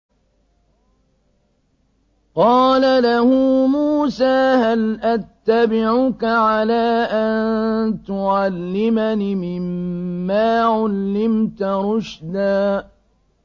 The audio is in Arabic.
قَالَ لَهُ مُوسَىٰ هَلْ أَتَّبِعُكَ عَلَىٰ أَن تُعَلِّمَنِ مِمَّا عُلِّمْتَ رُشْدًا